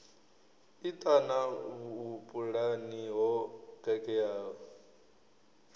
i ṱana vhupulani ho khakheaho